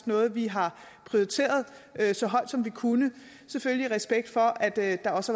noget vi har prioriteret så højt som vi kunne selvfølgelig i respekt for at der også